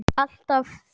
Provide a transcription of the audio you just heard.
Alltaf fjör.